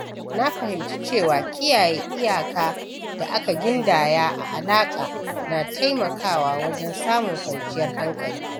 Na fahimci cewa kiyaye iyaka da aka gindaya a alaƙa na taimakawa wajen samun kwanciyar hankali.